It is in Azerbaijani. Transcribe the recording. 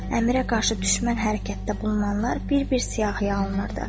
Əmirə qarşı düşmən hərəkətdə bulunanlar bir-bir siyahıya alınırdı.